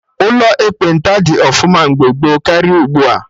Ụlọ ekpenta dị ọfụma mgbe gboo karịa ugbua